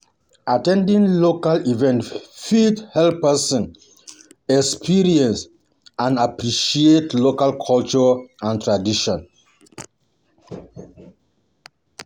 At ten ding local events fit help person experience help person experience and appreciate local culture and tradition